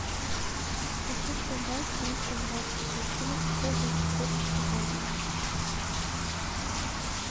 хочу продать триста двадцать шекелей какой будет курс сегодня